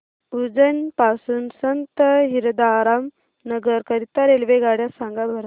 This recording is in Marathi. उज्जैन पासून संत हिरदाराम नगर करीता रेल्वेगाड्या सांगा बरं